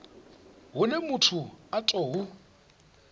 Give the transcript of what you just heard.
hune muthu a tou hu